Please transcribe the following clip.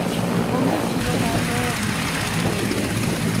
Onge chiro malong'o e gwenge go.